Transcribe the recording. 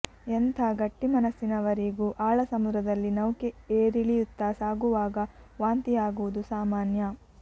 ಎಂಥ ಗಟ್ಟಿಮನಸ್ಸಿನವರಿಗೂ ಆಳ ಸಮುದ್ರದಲ್ಲಿ ನೌಕೆ ಏರಿಳಿಯುತ್ತಾ ಸಾಗುವಾಗ ವಾಂತಿಯಾಗುವುದು ಸಾಮಾನ್ಯ